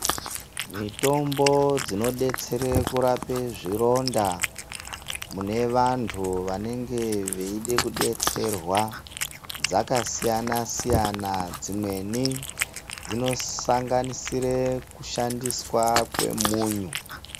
Mitombo dzinodetsere kurape zvironda mune vantu vanenge veida kudetserwa dzakasiyana-siyana. Dzimweni dzinosanganisire kushandiswa kwemunyu.